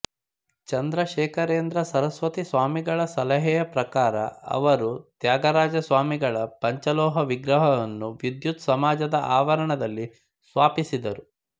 ಚಂದ್ರಶೇಖರೇಂದ್ರ ಸರಸ್ವತಿ ಸ್ವಾಮಿಗಳ ಸಲಹೆಯ ಪ್ರಕಾರ ಅವರು ತ್ಯಾಗರಾಜ ಸ್ವಾಮಿಗಳ ಪಂಚಲೋಹ ವಿಗ್ರಹವನ್ನು ವಿದ್ವತ್ ಸಮಾಜದ ಆವರಣದಲ್ಲಿ ಸ್ವಾಪಿಸಿದರು